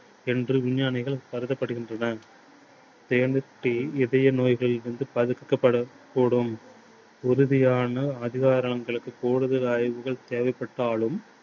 என்று விஞ்ஞானிகளால் கருதப்படுகின்றன. தேநீர் tea இதய நோய்களில் இருந்து தவிர்க்கப்படக் கூடும். உறுதியான அதிகாரங்களுக்கு கூடுதல் ஆய்வுகள் தேவைபட்டாலும்